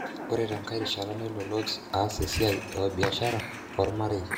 Ore tenkae rishata nelo Lodz aas esiai e biashara o marei.